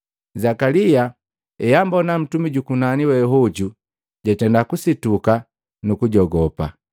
Zakalia eambona ntumi jukunani we hoju jatenda kusituka nukujogopa.